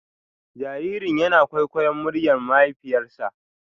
Jaririn yana kwaikwayon muryar mahaifiyarsa.